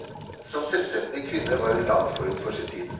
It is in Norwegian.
Som selvstendig kvinne var hun langt forut for sin tid.